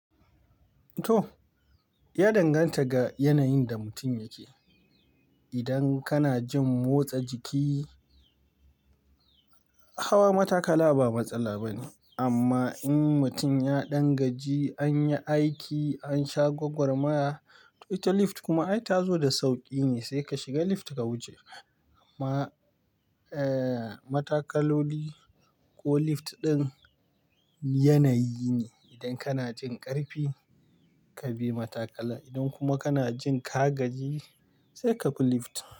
To, ya danganta ga yanayin da mutum yake. Idan kana jin motsa jiki, hawa matakala ba matsala bane. Amma in mutum ya ɗan gaji, an yi aiki, an sha gwagwar maya, ita lift kuma ai ta zo da sauƙi ne sai ka shiga lift ka wuce. Amma, eh, matakaloli ko lift ɗin yanayi ne. Idan kana jin ƙarfi ka bi matakalar. Idan kuma kana jin ka gaji sai ka bi lift.